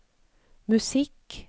musikk